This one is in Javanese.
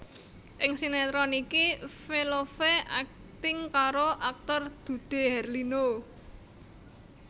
Ing sinetron iki Velove akting karo aktor Dude Harlino